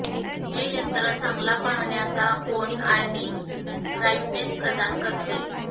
हे यंत्र चांगला पाहण्याचा कोन आणि ब्राइटनेस प्रदान करते